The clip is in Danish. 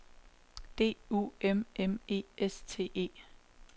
D U M M E S T E